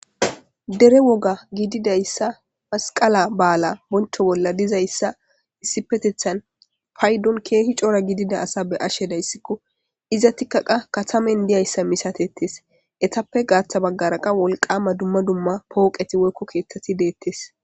Dere woga giididayssa masqala ba7ala boncho bolla dizayssa issipetethan paydon keehi coora gidida asa be ashe dayssikko iza tikkaqa katamen diyayssa misatettes etappe gaaththa baggaraqa wolqama dumma dumma pooqeti woykko keethtati deettes.